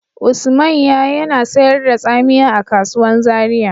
Usmanya yana sayar da tsamiya a kasuwan Zaria.